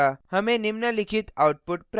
हमें निम्नलिखित output प्राप्त होता है: